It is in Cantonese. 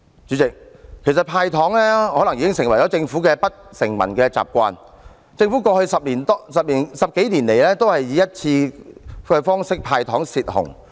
主席，"派糖"可能已成為政府的不成文習慣，政府過去十幾年來均以一次過"派糖"方式"泄洪"。